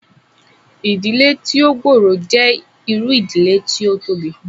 Ìdílé tí ó gbòrò jẹ́ irú ìdílé tí ó tóbi